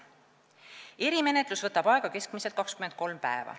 Erimenetlus võtab aega keskmiselt 23 päeva.